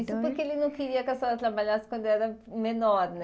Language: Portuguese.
Isso porque ele não queria que a senhora trabalhasse quando era menor, né?